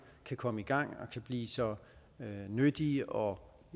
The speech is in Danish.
kan komme i gang og blive så nyttige og